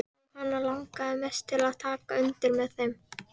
Þó hana langi mest til að taka undir með þeim.